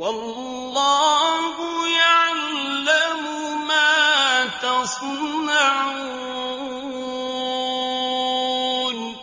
وَاللَّهُ يَعْلَمُ مَا تَصْنَعُونَ